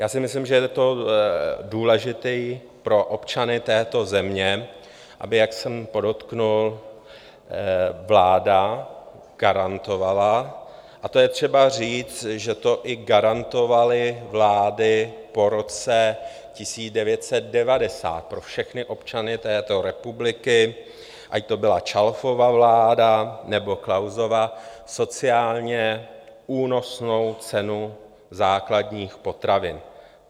Já si myslím, že je to důležité pro občany této země, aby, jak jsem podotkl, vláda garantovala - a to je třeba říct, že to i garantovaly vlády po roce 1990 - pro všechny občany této republiky, ať to byla Čalfova vláda nebo Klausova, sociálně únosnou cenu základních potravin.